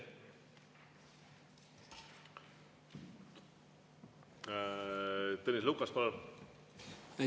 Tõnis Lukas, palun!